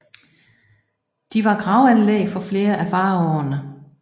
De var gravanlæg for flere af faraoene